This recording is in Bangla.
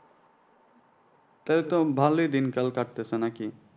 তাহলে তো ভালো দিনকাল কাটতেছে নাকি?